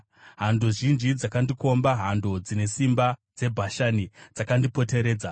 Hando zhinji dzakandikomba; hando dzine simba dzeBhashani dzakandipoteredza.